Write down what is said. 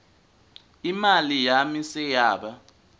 imali yami seyaba